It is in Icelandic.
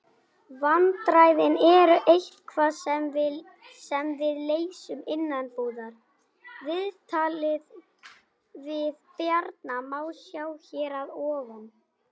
Vandræðin eru eitthvað sem við leysum innanbúðar. Viðtalið við Bjarna má sjá hér að ofan.